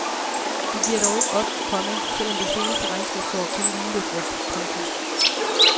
De giver dog ikke op, komma selv om det seneste regnskabsår kun lige løb rundt. punktum